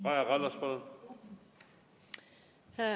Kaja Kallas, palun!